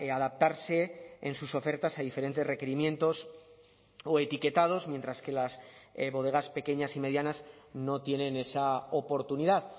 adaptarse en sus ofertas a diferentes requerimientos o etiquetados mientras que las bodegas pequeñas y medianas no tienen esa oportunidad